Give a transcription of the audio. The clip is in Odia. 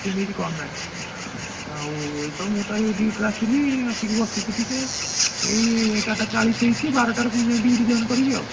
କଣ ନାଇଁ ଆଉ ଏଇତ ମୁଁତ ଏବେ duty ଋ ଆସିଲି ଆସିକି ବସିଛି ଟିକେ ଏଇ ଏଗାର ଟା ଚାଳିଶି ହେଇଛି ବାରଟା ରେ ଫୁଣି ଯାଇ duty join କରିବି ଆଉ